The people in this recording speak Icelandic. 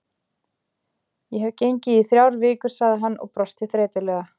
Ég hef gengið í þrjár vikur sagði hann og brosti þreytulega.